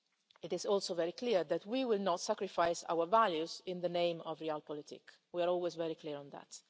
issues. It is also very clear that we will not sacrifice our values in the name of real politics' we are always very clear on